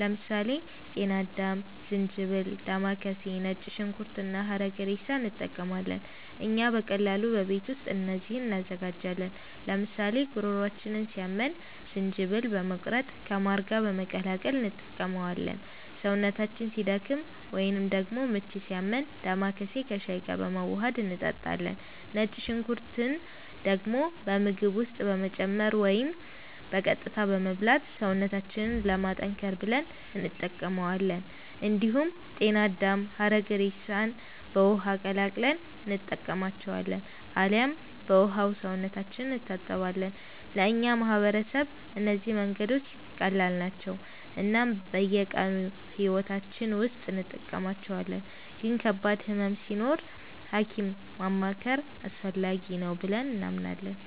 ለምሳሌ ጤና አዳም፣ ዝንጅብል፣ ዴማከሴ፣ ነጭ ሽንኩርት እና ሐረግሬሳ እንጠቀማለን። እኛ በቀላሉ በቤት ውስጥ እነዚህን እንዘጋጃለን፤ ለምሳሌ ጉሮሯችንን ሲያመን ዝንጅብልን በመቁረጥ ከማር ጋር በመቀላቀል እንጠቀመዋለን። ሰውነታችን ሲደክም ወይንም ደግሞ ምች ሲያመን ዴማከሴን ከሻይ ጋር በማዋሀድ እንጠጣለን። ነጭ ሽንኩርትን ደግሞ በምግብ ውስጥ በመጨመር ወይም በቀጥታ በመብላት ሰውነታችንን ለማጠንከር ብለን እንጠቀማዋለን። እንዲሁም ጤና አዳምና ሐረግሬሳን በውሃ ቀቅለን እንጠጣቸዋለን አልያም በውሃው ሰውነታችንን እንታጠባለን። ለእኛ ማህበረሰብ እነዚህ መንገዶች ቀላል ናቸው እናም በየቀኑ ሕይወታችን ውስጥ እንጠቀማቸዋለን፤ ግን ከባድ ህመም ሲኖር ሀኪም ማማከር አስፈላጊ ነው ብለንም እናምናለን።